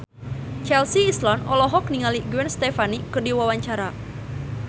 Chelsea Islan olohok ningali Gwen Stefani keur diwawancara